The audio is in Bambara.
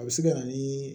A bɛ se ka na ni